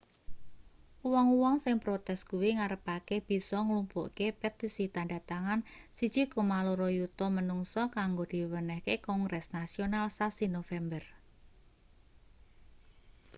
wong-wong sing protes kuwi ngarepake bisa nglumpukke petisi tandha tangan 1,2 yuta manungsa kanggo diwenehke kongres nasional sasi nopember